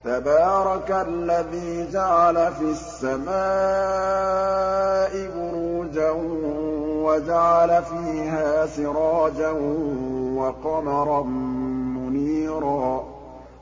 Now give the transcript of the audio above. تَبَارَكَ الَّذِي جَعَلَ فِي السَّمَاءِ بُرُوجًا وَجَعَلَ فِيهَا سِرَاجًا وَقَمَرًا مُّنِيرًا